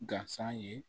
Gasan ye